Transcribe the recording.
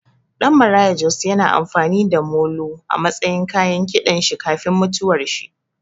Ɗan Maraya Jos ya na amfani da molo a matsayin kayan kiɗan shi kafin mutuwar shi